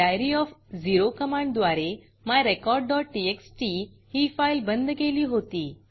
diary OF zero कमांडद्वारे myrecordटीएक्सटी ही फाईल बंद केली होती